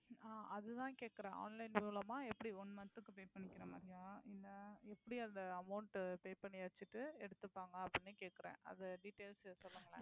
ஆஹ் அதுதான் கேட்கிறேன் online மூலமா எப்படி one month க்கு pay பண்ணிக்கிற மாதிரியா இல்லை எப்படி அதை amount pay பண்ணியாச்சிட்டு எடுத்துப்பாங்க அப்படின்னு கேட்கிறேன் அதை details சொல்லுங்களேன்